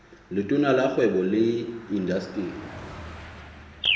letona la kgwebo le indasteri